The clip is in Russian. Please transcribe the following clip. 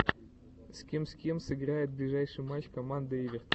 с кем с кем сыграет ближайший матч команда эвертон